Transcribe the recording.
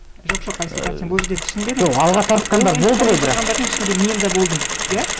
жоқ жоқ айсұлтан сен бұл жерде түсінбедің жоқ алға тартқандар болды ғой бірақ коммент жазғандардың ішінде мен де болдым иә